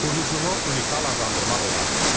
Bu hücumu unikal adlandırmaq olar.